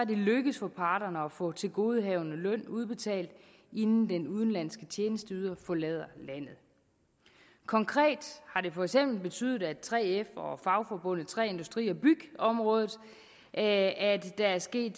lykkedes for parterne at få tilgodehavende løn udbetalt inden den udenlandske tjenesteyder forlod landet konkret har det for eksempel betydet for 3f og fagforbundet på træ industri og byggeområdet at at der er sket